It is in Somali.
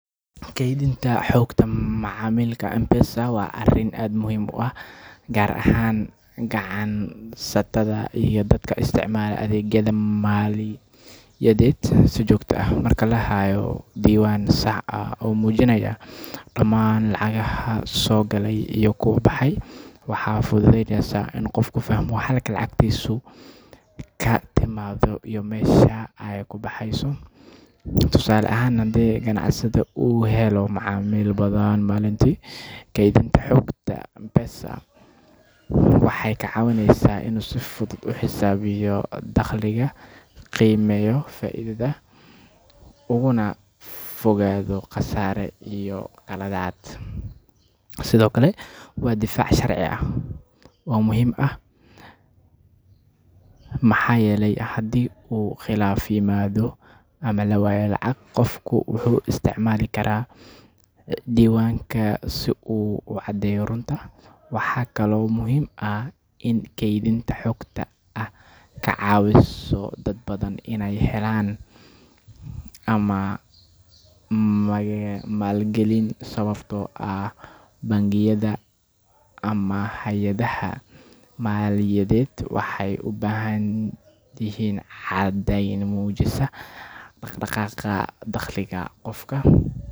Kaydinta xogta macaamilka M-Pesa waa arrin aad muhiim u ah gaar ahaan ganacsatada iyo dadka isticmaala adeegyada maaliyadeed si joogto ah. Marka la hayo diiwaan sax ah oo muujinaya dhammaan lacagaha soo galay iyo kuwa baxay, waxay fududeysaa in qofku fahmo halka lacagtiisu ka timaaddo iyo meesha ay ku baxayso. Tusaale ahaan, haddii ganacsade uu helo macaamiil badan maalintii, kaydinta xogta M-Pesa waxay ka caawineysaa inuu si fudud u xisaabiyo dakhliga, qiimeeyo faa’iidada, ugana fogaado khasaare iyo qaladaad. Sidoo kale, waa difaac sharci ah oo muhiim ah, maxaa yeelay haddii uu khilaaf yimaado ama la waayo lacag, qofku wuxuu isticmaali karaa diiwaanka si uu u caddeeyo runta. Waxaa kaloo muhiim ah in kaydinta xogta ay ka caawiso dad badan inay helaan amaah ama maalgelin, sababtoo ah bangiyada ama hay’adaha maaliyadeed waxay u baahdaan caddayn muujinaysa dhaqdhaqaaqa dakhliga qofka.